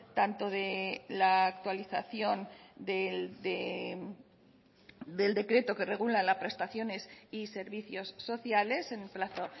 tanto de la actualización del decreto que regula las prestaciones y servicios sociales en un plazo